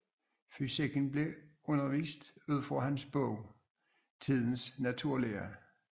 Fysikken blev undervist ud fra hans bog Tidens naturlære